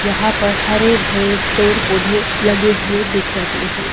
यहां पर हरे भरे पेड़ पौधे लगे हुए दिख रहे हैं।